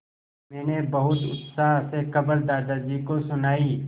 मैंने बहुत उत्साह से खबर दादाजी को सुनाई